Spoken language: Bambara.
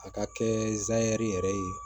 A ka kɛ zɛrɛri yɛrɛ ye